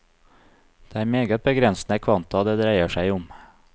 Det er meget begrensede kvanta det dreier seg om.